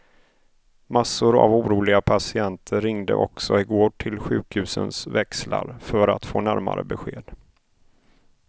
Massor av oroliga patienter ringde också igår till sjukhusens växlar för få närmare besked.